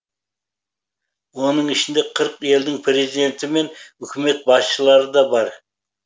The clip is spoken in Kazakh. оның ішінде қырық елдің президенті мен үкімет басшылары да бар